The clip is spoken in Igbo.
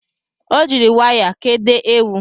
Ọ jiri waya kedo ewu